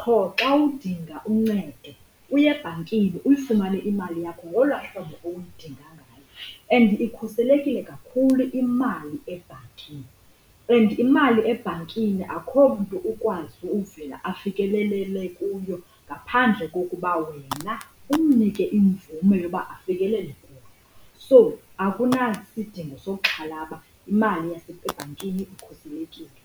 qho xa udinga uncedo uye ebhankini uyifumane imali yakho ngola hlobo uyidinga ngayo and ikhuselekile kakhulu imali ebhankini. And imali ebhankini akukho mntu ukwazi uvela afikelelele kuyo ngaphandle kokuba wena umnike imvume yoba afikelele kuyo. So, akunasidingo sokuxhalaba imali ebhankini ikhuselekile.